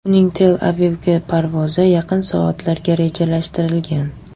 Uning Tel-Avivga parvozi yaqin soatlarga rejalashtirilgan.